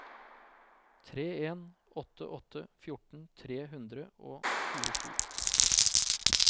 tre en åtte åtte fjorten tre hundre og tjuesju